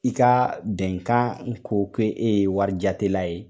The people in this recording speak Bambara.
I ka bɛnkan ko k'e ye warijatelila ye.